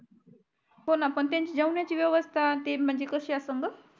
होणा पण त्यांची जेवणाची ची व्यवस्था अन ते म्हणजे कशी असणं गं